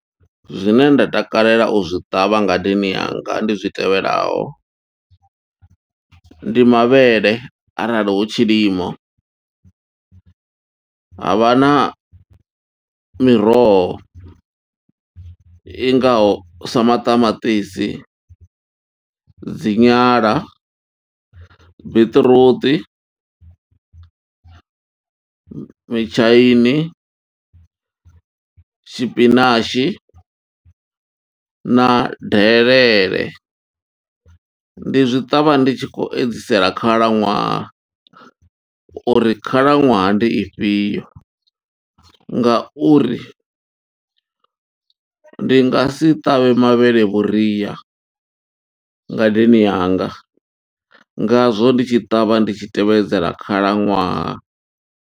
Zwine nda takalela u zwi ṱavha ngadeni yanga, ndi zwi tevhelaho. Ndi mavhele arali hu tshilimo, ha vha na miroho i ngaho sa maṱamaṱisi, dzi nyala, biṱiruṱi, mitshaini, tshipinatshi, na delele. Ndi zwi ṱavha ndi tshi khou edzisela khalaṅwaha, uri khalaṅwaha ndi ifhio, ngauri ndi nga si ṱavhe mavhele vhuria ngadeni yanga, Ngazwo ndi tshi ṱavha, ndi tshi tevhedzela khalaṅwaha..